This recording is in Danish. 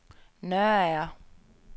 Nørager